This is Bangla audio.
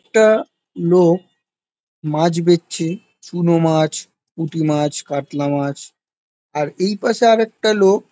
একটা লোক মাছ বেচছে চুন মাছ পুটি মাছ কাতলা মাছ আর এই পাশে আর একটা লোক--